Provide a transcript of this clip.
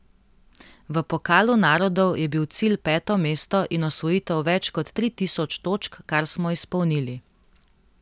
V pokalu narodov je bil cilj peto mesto in osvojitev več kot tri tisoč točk, kar smo izpolnili.